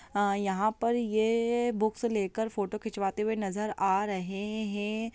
हाँ यह पर ये बुक्स लेकर फोटो खिंचवाते हुए नजर आ रहे है।